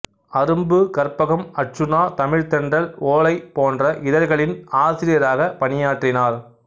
அரும்பு கற்பகம் அர்ச்சுனா தமிழ்த்தென்றல் ஓலை போன்ற இதழ்களின் ஆசிரியராகப் பணியாற்றினார்